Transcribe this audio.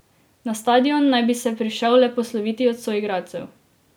Na stadion naj bi se prišel le posloviti od soigralcev.